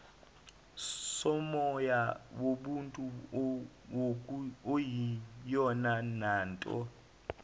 somoya wobuntu okuyiyonanto